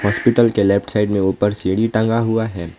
Hospital के left side में ऊपर सीढ़ी टंगा हुआ है।